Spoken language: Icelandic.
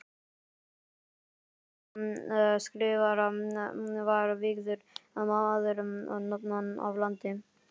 Í flokki Kristjáns Skrifara var vígður maður norðan af landi.